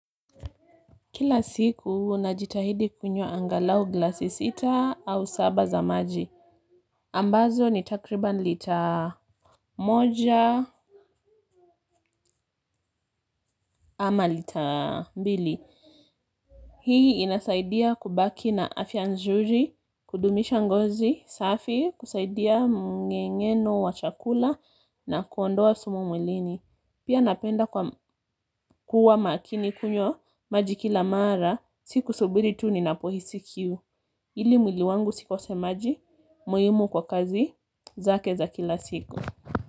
Kila siku, najitahidi kunywa angalau glasi sita au saba za maji. Ambazo ni takriban lita moja ama lita mbili. Hii inasaidia kubaki na afya nzuri, kudumisha ngozi, safi, kusaidia mngengeno wa chakula na kuondoa sumu mwilini. Pia napenda kwa kuwa makini kunywa maji kila mara, si kusubiri tu ninapohisi kiu. Ili mwili wangu usikose maji muhimu kwa kazi zake za kila siku.